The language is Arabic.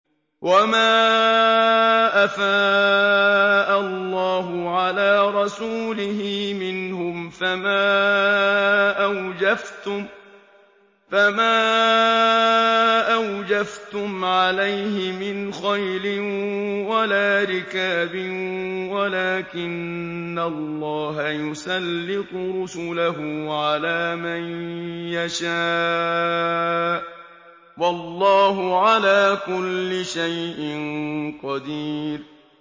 وَمَا أَفَاءَ اللَّهُ عَلَىٰ رَسُولِهِ مِنْهُمْ فَمَا أَوْجَفْتُمْ عَلَيْهِ مِنْ خَيْلٍ وَلَا رِكَابٍ وَلَٰكِنَّ اللَّهَ يُسَلِّطُ رُسُلَهُ عَلَىٰ مَن يَشَاءُ ۚ وَاللَّهُ عَلَىٰ كُلِّ شَيْءٍ قَدِيرٌ